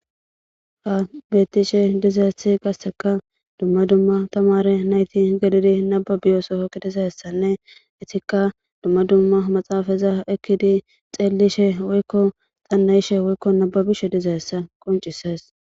ha bettishe dizayssi qasseka dumma dumma tamare nayti gedidi naba biyosofoki dizayessanne itikka dumma dumma maxaafaza ekkidi xeellishe woykko xannayishe woykko nababishe dizaessa qoncisees